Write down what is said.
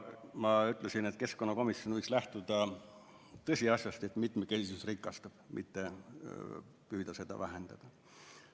Ma ütlesin, et keskkonnakomisjon võiks lähtuda tõsiasjast, et mitmekesisus rikastab, mitte püüda seda vähendada.